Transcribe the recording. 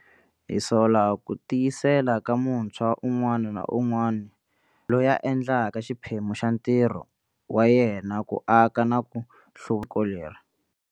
Hi sola ku tiyisela ka muntshwa un'wana na un'wana lontshwa loyi a endlaka xiphemu xa ntirho wa yena ku aka na ku hluvuko leri.